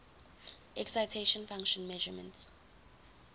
excitation function measurements